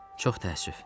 Çox təəssüf.